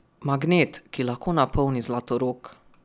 Magnet, ki lahko napolni Zlatorog.